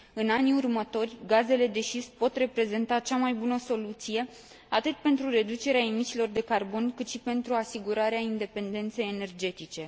În anii următori, gazele de șist pot reprezenta cea mai bună soluție, atât pentru reducerea emisiilor de carbon, cât și pentru asigurarea independenței energetice.